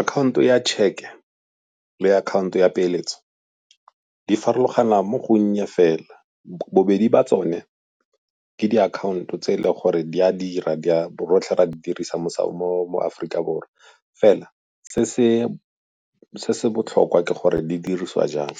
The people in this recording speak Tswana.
Akhaonto ya tšheke le akhaonto ya peeletso di farologana mo go nnye fela. Bobedi ba tsone ke diakhaonto tse e le gore di a dira, rotlhe re a di dirisa mo Aforika Borwa. Fela se se botlhokwa ke gore di dirisiwa jang,